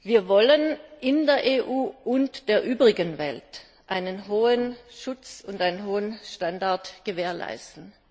Wir wollen in der EU und der übrigen Welt einen hohen Schutz und einen hohen Standard gewährleisten.